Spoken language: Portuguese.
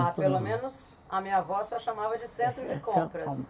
Ah, pelo menos a minha avó só chamava de centro de compras.